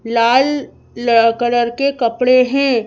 लाल colour के कपड़े हैं।